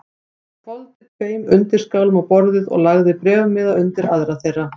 Hann hvolfdi tveim undirskálum á borðið og lagði bréfmiða undir aðra þeirra.